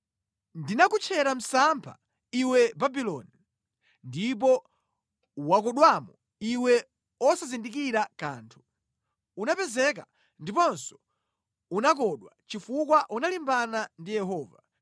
Ndinakutchera msampha, iwe Babuloni, ndipo wakodwamo iwe wosazindikira kanthu; unapezeka ndiponso unakodwa chifukwa unalimbana ndi Yehova.